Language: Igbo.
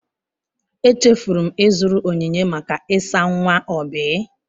Echefuru m ịzụrụ onyinye maka ịsa nwa Oby.